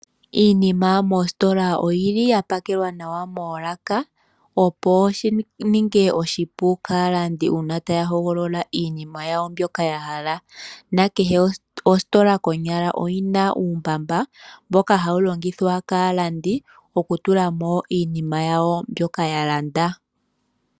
Iinima mositola oyi li ya pakelwa nawa moolaka, opo shi ninge oshipu kaalandi uuna taya hogolola iinima yawo mbyoka ya hala, na kehe ositola konyala oyi na uumbamba mboka hawu longithwa kaalandi okutula mo iinima yawo mbyoka ya landa.